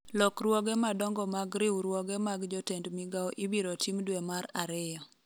lokruoge madongo mag riwruoge mag jotend migawo ibiro tim dwe mar ariyo